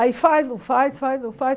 Aí faz, não faz, faz, não faz.